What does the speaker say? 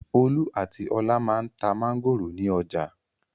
Olú àti Ọlá máa ń ta mángòrò ní ọjà.